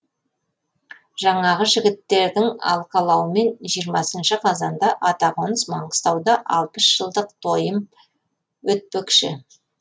жаңағы жігіттердің алқалауымен жиырмасыншы қазанда атақоныс маңғыстауда алпыс жылдық тойым өтпекші